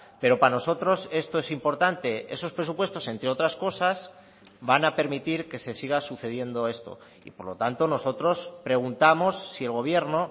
pero para nosotros esto es importante esos presupuestos entre otras cosas van a permitir que se siga sucediendo esto y por lo tanto nosotros preguntamos si el gobierno